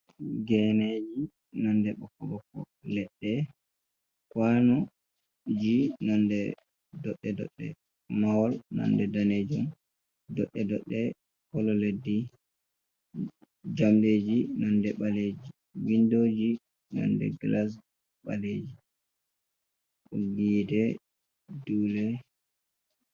Ngeneji nonɗe bokko-boko. Leɗɗe kwanuji nonɗe ɗoɗɗe-ɗoɗɗe. Mahol nonɗe ɗanejum ɗoɗɗe-ɗoɗɗe kolo leɗɗi jamɗeji nonɗe baleji winɗoji nonɗe gilas baleji boggiano hi'ete ɗule.